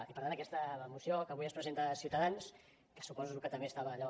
i per tant aquesta moció que avui ens presenta ciutadans que suposo que també estava allò